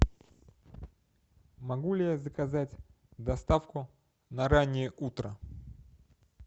могу ли я заказать доставку на раннее утро